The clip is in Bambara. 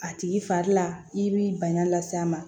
A tigi fari la i b'i bana las'a ma